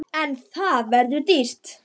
En það verður dýrt.